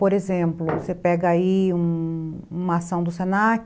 Por exemplo, você pega aí uma ação do se na que,